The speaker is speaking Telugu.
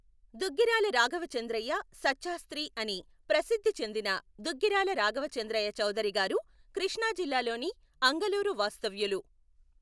దుగ్గిరాల రాఘవచంద్రయ్య సఛ్చాస్త్రి అని ప్రసిధ్ధిచెందిన దుగ్గిరాల రాఘవచంద్రయ్య చౌదరి గారు కృష్ణాజిల్లా లోని అంగలూరు వాస్తవ్యులు.